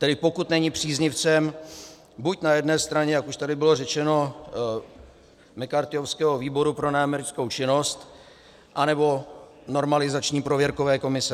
Tedy pokud není příznivcem buď na jedné straně, jak už tady bylo řečeno, McCarthyovského Výboru pro neamerickou činnost, anebo normalizační prověrkové komise.